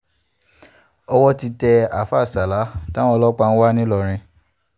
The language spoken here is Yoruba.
owó ti tẹ àáfáà sala táwọn ọlọ́pàá ń wá ńìlọrin